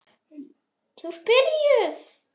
Matti og Krulli líta hvor á annan, síðan á stórlaxinn.